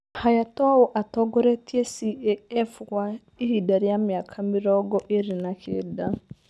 Hayatoū atongoretie CAF kwa ihinda rĩa mĩaka mĩrongo ĩĩrĩ na kenda